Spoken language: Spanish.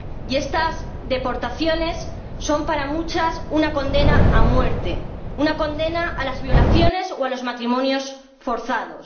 Y estas deportaciones son para muchas mujeres una condena a muerte, una condena a las violaciones o a los matrimonios forzados.